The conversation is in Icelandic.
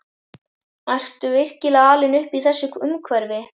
Ertu virkilega alinn upp í þessu umhverfi?